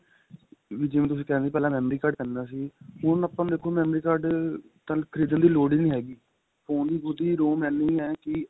ਵੀ ਜਿਵੇਂ ਤੁਸੀਂ ਕਹਿ ਰਹੇ ਹੋ ਪਹਿਲਾਂ memory card ਪੈਂਦਾ ਸੀ ਹੁਣ ਆਪਾਂ ਨੂੰ ਦੇਖੋ memory card ਤੁਹਾਨੂੰ ਖਰੀਦਣ ਦੀ ਲੋੜ ਹੀ ਨਹੀਂ ਹੈਗੀ phone ਦੀ ਖੁਦ ਦੀ ROM ਇੰਨੀ ਏ ਕੀ